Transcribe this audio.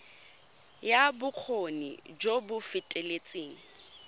ya bokgoni jo bo feteletseng